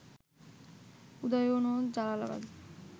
উদয়ন ও জালালাবাদ